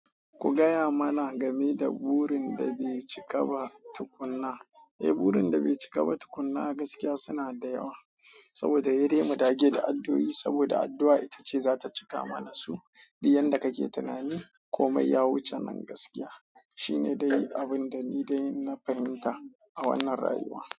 Ku gaya mana game da burin da bai cika ba tukunna. Eh, burin da bai cika ba tukunna a gaskiya suna da yawa. Saboda he dai mu dage da addu'o'i saboda addu'a ita ce za ta cika mana su. Duk yadda kake tunani komai ya wuce nan gaskiya shine dai abin da ni dai na fahimta a wannan rayuwa.